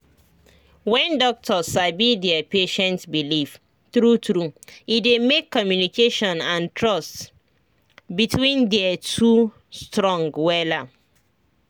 when doctor sabi their patient belief true true e dey make communication and trust between their two strong wella